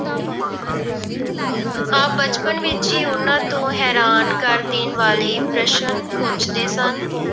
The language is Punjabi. ਆਪ ਬਚਪਨ ਵਿੱਚ ਹੀ ਉਹਨਾਂ ਤੋਂ ਹੈਰਾਨ ਕਰ ਦੇਣ ਵਾਲੇ ਪ੍ਰਸ਼ਨ ਪੁੱਛਦੇ ਸਨ।